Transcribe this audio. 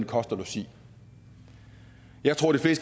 kost og logi jeg tror at de